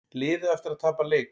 Liðið á eftir að tapa leik